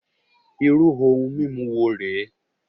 Irú ohun mímu wo rè é?